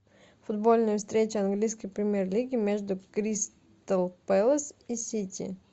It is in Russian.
футбольная встреча английской премьер лиги между кристал пэлас и сити